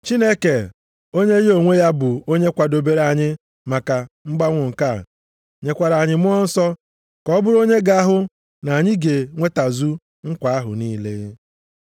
Chineke onye ya onwe ya, bụ onye kwadobere anyị maka mgbanwo nke a, nyekwara anyị Mmụọ Nsọ ka ọ bụrụ onye ga-ahụ na anyị ga-enwetazu nkwa ahụ niile.